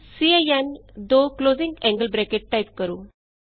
ਸਿਨ ਜੀਟੀਜੀਟੀ ਟਾਈਪ ਕਰੋ